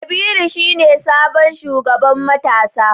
Kabiru shine sabon shugaban matasa